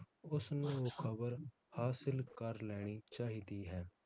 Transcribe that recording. ਉਸ ਨੂੰ ਉਹ ਖਬਰ ਹਾਸਿਲ ਕਰ ਲੈਣੀ ਚਾਹੀਦੀ ਹੈ